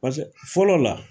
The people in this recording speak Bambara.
Pase fɔlɔ la